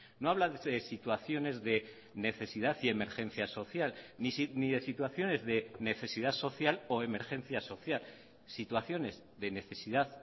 no habla de situaciones de necesidad y emergencia social ni de situaciones de necesidad social o emergencia social situaciones de necesidad